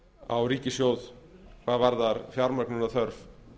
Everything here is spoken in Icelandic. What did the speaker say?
á ríkissjóð hvað varðar fjármögnunarþörf